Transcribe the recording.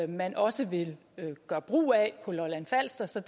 man også vil gøre brug af på lolland falster så